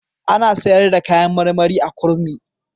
Ana sayar da kayan marmari a Kurmi.